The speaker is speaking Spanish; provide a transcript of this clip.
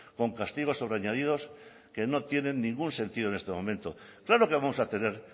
con castigos sobreañadidos que no tienen ningún sentido en este momento claro que vamos a tener